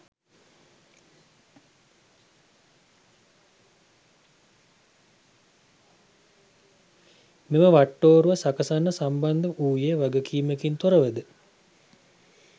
මෙම වට්ටෝරුව සකසන්න සම්බන්ධ වූයේ වගකීමකින් තොරවද?